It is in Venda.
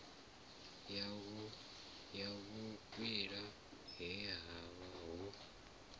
ya vhukwila he havha ho